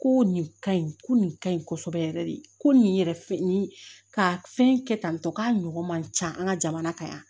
Ko nin ka ɲi ko nin ka ɲi kɔsɔbɛ yɛrɛ de ko nin yɛrɛ nin ka fɛn kɛ tan tɔ k'a ɲɔgɔn man can an ka jamana kan yan